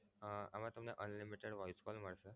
અમ આમા તમને Unlimited voice calls મળશે.